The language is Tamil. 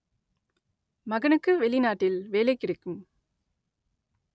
மகனுக்கு வெளிநாட்டில் வேலை கிடைக்கும்